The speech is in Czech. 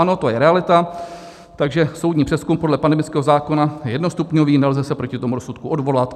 Ano, to je realita, takže soudní přezkum podle pandemického zákona je jednostupňový, nelze se proti tomu rozsudku odvolat.